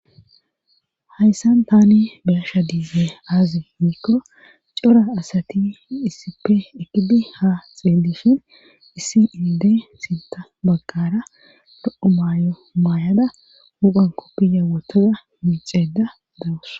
Hayssan tani bersha diize aazi hiikko cora asati issippe ekidi ha xeedishin issi ilde sinta baggara do7o maayo maayada huphan koppiya wotoza miixeeda dawus